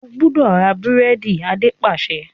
O gbúdọ̀ ra búrẹ́dì! Adé pàṣẹ.